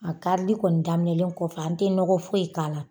A karili kɔni daminɛlen kɔfɛ, an tɛ nɔgɔ foyi k'a la.